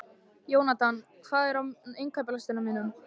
Jónatan, hvað er á innkaupalistanum mínum?